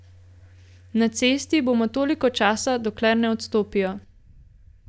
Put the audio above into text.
Na cesti bomo toliko časa, dokler ne odstopijo.